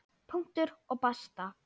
Punktur og basta!